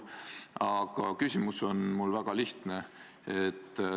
Aga küsimus on mul väga lihtne.